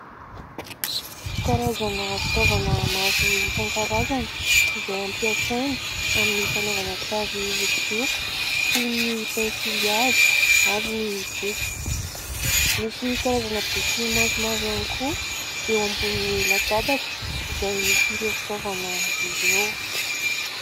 Karazana fitaovana maro isankarazany izay ampiasaina amin'ny fanaovana sary hosodoko toy ny : pensily hazo ary ny boky. Misy karazana boky maromaro ihany koa eo ambonin'ny latabatra izay misy ireo fitaovana ireo.